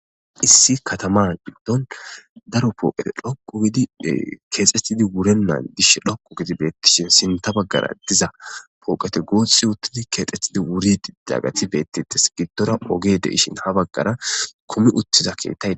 Issi kataman biddon daro pooqee dhoqu gidi keexxettidi wurennan dish dhoqu gidi beettishin sinta baggara diza pooqate goothsi uttidi keexxettidi wuri daggati beettites giddora oge de ishin ha baggara kumi uttiza keettay.